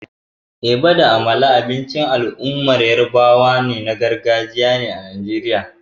Eba da amala abincin al'ummar yarabawa na gargajiya ne a Najeriya.